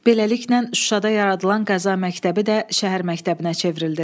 Beləliklə Şuşada yaradılan Qəza məktəbi də şəhər məktəbinə çevrildi.